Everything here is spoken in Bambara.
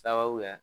Sababuya